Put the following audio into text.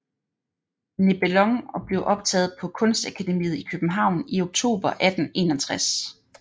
Nebelong og blev optaget på Kunstakademiet i København i oktober 1861